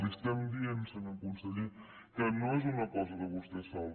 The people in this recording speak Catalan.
li estem dient senyor conseller que no és una cosa de vostè sol